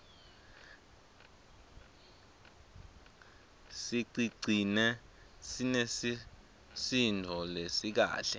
sicigcine sinesisindvo lesikahle